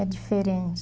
É diferente.